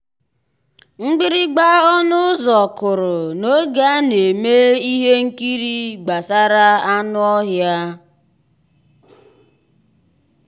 mgbìrìgbà ọnụ́ ụ́zọ̀ kụ́rụ̀ n'ògé á ná-èmè íhé nkírí gbàsàrà ànú ọ́híá.